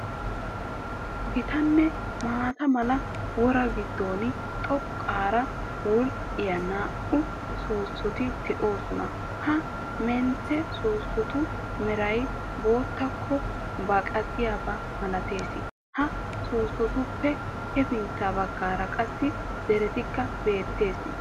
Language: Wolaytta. Gitanne maata mala woraa giddon xoqqaara wodhdhiya naa''u soossoti de'oosona. Ha mentte soossotu meray boottaakko baaqqiyaaba malatees. Ha soossotuppe hefintta baggaara qassi dereekka beettees.